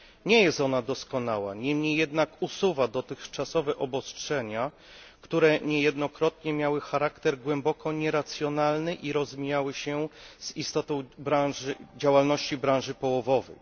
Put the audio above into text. Nie jest ona doskonała, niemniej jednak usuwa dotychczasowe obostrzenia, które niejednokrotnie miały charakter głęboko nieracjonalny i rozmijały się z istotą działalności branży połowowej.